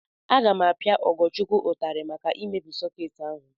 Aga m apia Ugochukwu ụtarị maka imebi sọkeetị ahu.